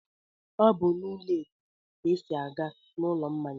Ọ bụ n'ụlọ ètè ka e si aga n'ụlọ mmanya.